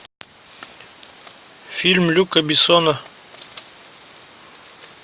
фильм люка бессона